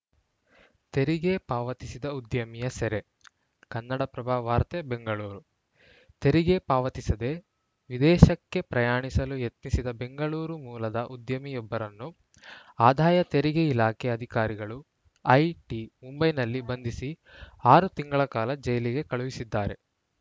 ತೆರಿಗೆ ಪಾವತಿಸದ ಉದ್ಯಮಿಯ ಸೆರೆ ಕನ್ನಡಪ್ರಭ ವಾರ್ತೆ ಬೆಂಗಳೂರು ತೆರಿಗೆ ಪಾವತಿಸದೆ ವಿದೇಶಕ್ಕೆ ಪ್ರಯಾಣಿಸಲು ಯತ್ನಿಸಿದ್ದ ಬೆಂಗಳೂರು ಮೂಲದ ಉದ್ಯಮಿಯೊಬ್ಬರನ್ನು ಆದಾಯ ತೆರಿಗೆ ಇಲಾಖೆ ಅಧಿಕಾರಿಗಳು ಐಟಿ ಮುಂಬೈನಲ್ಲಿ ಬಂಧಿಸಿ ಆರು ತಿಂಗಳ ಕಾಲ ಜೈಲಿಗೆ ಕಳುಹಿಸಿದ್ದಾರೆ